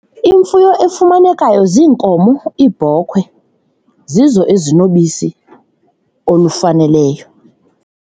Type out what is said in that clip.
Imfuyo efumanekayo ziinkomo, iibhokhwe zizo ezinobisi olufaneleyo.